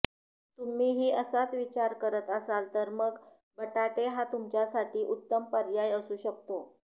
तुम्हीही असाच विचार करत असाल तर मग बटाटे हा तुमच्यासाठी उत्तम पर्याय असू शकतो